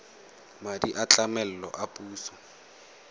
madi a tlamelo a puso